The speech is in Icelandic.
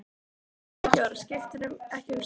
Hann segir ekki orð, skiptir ekki um svip.